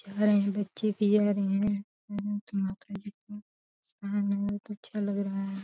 बच्चे भी आ रहे है। अच्छा लग रहा है।